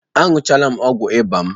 Aṅụchaala m ọgwụ ịba m